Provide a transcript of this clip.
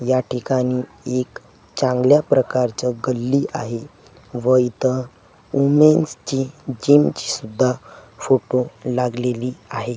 या ठिकाणी एक चांगल्या प्रकारचा गल्ली आहे व इथं वुमेन्सची जिमची सुद्धा फोटो लागलेली आहे.